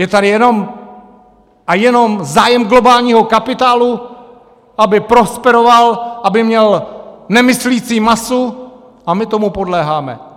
Je tady jenom a jenom zájem globálního kapitálu, aby prosperoval, aby měl nemyslící masu, a my tomu podléháme.